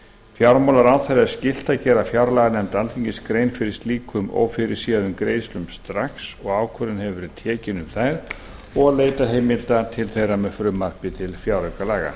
fjármálaráðherra er skylt að gera fjárlaganefnd alþingis grein fyrir slíkum ófyrirséðum greiðslum strax og ákvörðun hefur verið tekin um þær og leita heimilda til þeirra með frumvarpi til fjáraukalaga